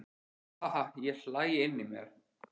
Ha ha ha ég hlæ inní mér.